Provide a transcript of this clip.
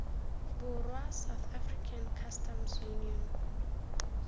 borwa south african customs union